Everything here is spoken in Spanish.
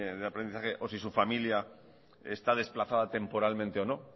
de aprendizaje o si su familia está desplazada temporalmente o no